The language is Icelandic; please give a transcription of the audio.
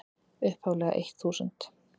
upphaflega eitt þúsund.